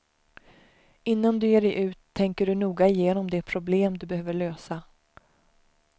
Innan du ger dig ut tänker du noga igenom det problem du behöver lösa.